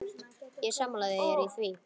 Ég er sammála þér í því.